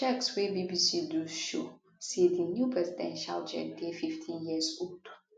checks wey bbc do show say di new presidential jet dey 15years old